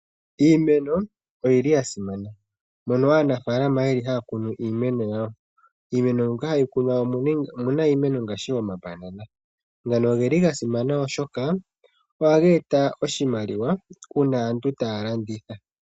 Iimeno oyi li ya simana, mono aanafaalama ye li haa kunu iimeno yawo. Iimeno mbyo hayi kunwa omu na iimeno ngaashi omabanana. Ngono oge li ga simana oshoka ohaga eta oshimaliwa uuna aantu taa landitha.